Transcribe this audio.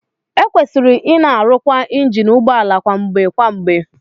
Ekwesịrị ịna erụkwa injin ụgbọ ala kwa mgbe kwa mgbe